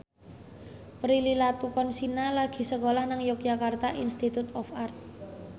Prilly Latuconsina lagi sekolah nang Yogyakarta Institute of Art